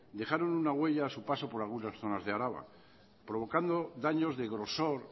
dejaron una huella a su paso por algunas zonas de araba provocando daños de grosor